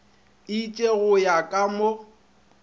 itše go ya ka mo